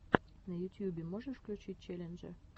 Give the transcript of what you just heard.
на ютьюбе можешь включить челленджи